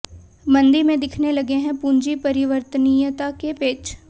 मंदी में दिखने लगे हैं पूंजी परिवर्तनीयता के पेच